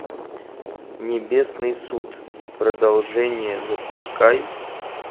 небесный суд продолжение запускай